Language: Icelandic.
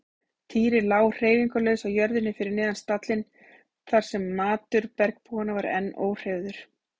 Týri lá hreyfingarlaus á jörðinni fyrir neðan stallinn þar sem matur bergbúanna var enn óhreyfður.